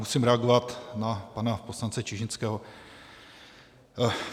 Musím reagovat na pana poslance Čižinského.